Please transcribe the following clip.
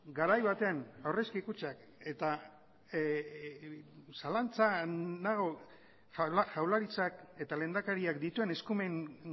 garai baten aurrezki kutxak eta zalantzan nago jaurlaritzak eta lehendakariak dituen eskumen